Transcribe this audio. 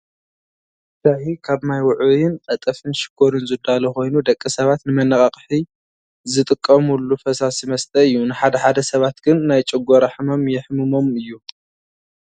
ሻሂ ካብ ማይ ውዕይን ቀጠፍን ሽኮርን ዝዳሎ ኮይኑ ደቂ ሰባት ንመነቃቂሒ ዝጥቀሙሉ ፈሳሲ መስተ እዩ። ንሓደ ሓደ ሰባት ግን ናይ ጨጎራ ሕማም ይሕምሞም እዩ።